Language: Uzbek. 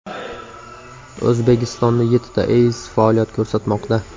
O‘zbekistonda yettita EIZ faoliyat ko‘rsatmoqda.